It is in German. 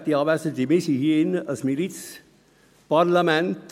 – Werte Anwesende, wir sind hier drin ein Milizparlament.